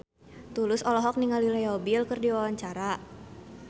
Tulus olohok ningali Leo Bill keur diwawancara